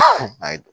Ayi don